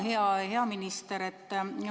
Hea minister!